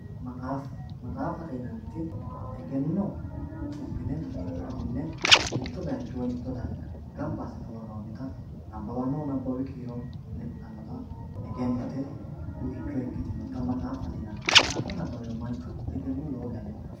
maxaaffa maxaaffate yinanniti egenno cibbine duunne mitto bayiicho woy mitto darga ganba assine worroonnita mannu nabbawi kiiro lexxannota egennote buicho ikkitinota maxaaffate yinanni maxaaffa nabbawiro manchu egenno lowo geeshsha lexxanno